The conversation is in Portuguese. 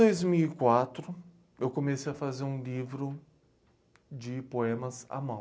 Em dois mil e quatro, eu comecei a fazer um livro de poemas à mão.